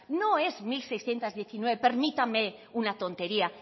no es mil seiscientos diecinueve permítame una tontería